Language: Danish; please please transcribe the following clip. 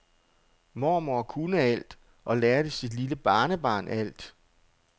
Mormor kunne alt og lærte sit lille barnebarn alt.